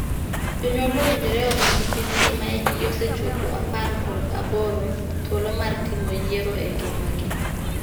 Jonyuol owinjore omii nyithindgi ma hikgi osechopo apar kod aboro thuolo mar timo yiero e ngimagi.